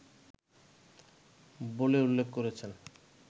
বলে উল্লেখ করেছেন